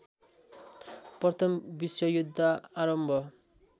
प्रथम विश्वयुद्ध आरम्भ